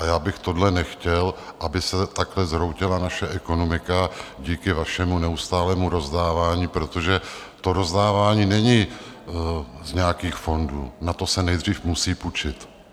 A já bych tohle nechtěl, aby se takhle zhroutila naše ekonomika díky vašemu neustálému rozdávání, protože to rozdávání není z nějakých fondů, na to se nejdřív musí půjčit.